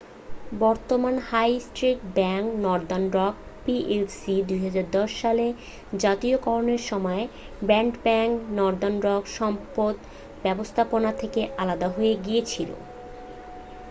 বর্তমান high street bank Northern Rock PLC ২০১০ সালে জাতীয়করণের সময় 'ব্যাড ব্যাংক' নর্দার্ন রক সম্পদ ব্যবস্থাপনা থেকে আলাদা হয়ে গিয়েছিল।